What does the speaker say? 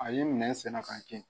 A ye nɛn sɛnɛ ka kɛ